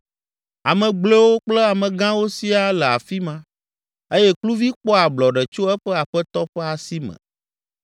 Ame gblɔewo kple amegãwo siaa le afi ma eye kluvi kpɔa ablɔɖe tso eƒe aƒetɔ ƒe asi me.